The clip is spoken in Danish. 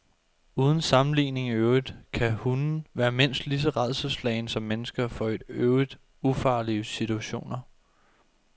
Uden sammenligning i øvrigt kan hunde være mindst lige så rædselsslagne som mennesker for i øvrigt ufarlige situationer.